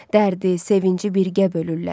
Dərdi, sevinci birgə bölürlər.